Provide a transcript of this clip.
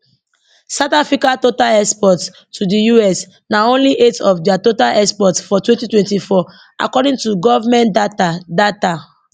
south africa total exports to di us na only 8 of dia total exports for 2024 according to govment data data